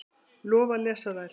Lofa að lesa þær.